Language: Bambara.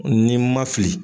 Ni n ma fili